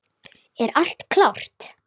Er allt klárt?